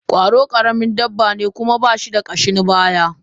Kwaro karamin dabba ne kuma bashi da kashin baya.